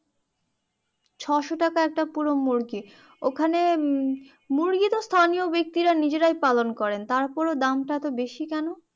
ছয়শো টাকা হচ্ছে একটা পুরো মুরগি ওখানে মুরগি তো স্থানীয় ব্যক্তিরা নিজেরাই পালন করেন তারপরেও দাম তা এতো বেশি কেন